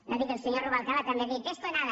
no digui el senyor rubalcaba també ha dit de esto nada